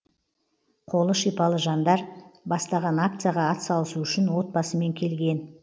қолы шипалы жаңдар бастаған акцияға атсалысу үшін отбасымен келген